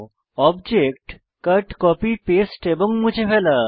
object cut copy paste এবং মুছে ফেলা